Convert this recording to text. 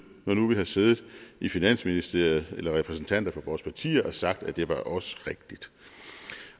når nu vi har siddet i finansministeriet eller repræsentanter for vores partier har sagt at det også